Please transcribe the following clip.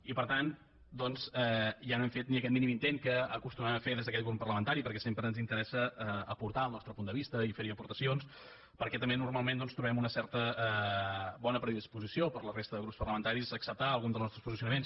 i per tant doncs ja no hem fet ni aquest mínim intent que acostumem a fer des d’aquest grup parlamentari perquè sempre ens interessa aportar el nostre punt de vista i fer hi aportacions perquè també normalment trobem una certa bona predisposició per la resta de grups parlamentaris a acceptar alguns dels nostres posicionaments